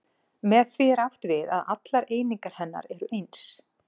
Með því er átt við að allar einingar hennar eru eins.